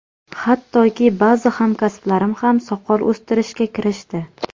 Hattoki, ba’zi hamkasblarim ham soqol o‘stirishga kirishdi.